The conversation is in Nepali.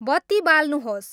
बत्ति बाल्नुहोस्